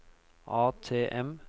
ATM